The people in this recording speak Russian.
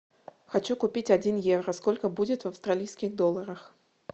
хочу купить один евро сколько будет в австралийских долларах